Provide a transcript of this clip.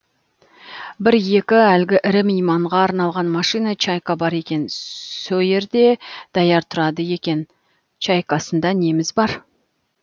бір екі әлгі ірі мейманға арналған машина чайка бар екен сөйерде даяр тұрады екен ол чайкасында неміз бар